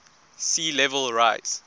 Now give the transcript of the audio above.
sea level rise